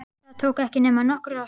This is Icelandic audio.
Það tók ekki nema nokkrar sekúndur.